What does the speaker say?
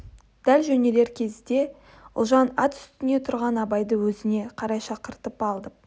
дәл жөнелер кезде ұлжан ат үстінде тұрған абайды өзіне қарай шақыртып алып